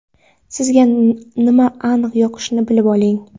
sizga nima aniq yoqishini bilib oling.